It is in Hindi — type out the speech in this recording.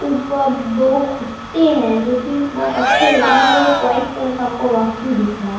ऊपर दो खूटे है जो कि बहुत अच्छे है अंदर एक व्हाइट कलर का हमको रौशनी दिख रहा।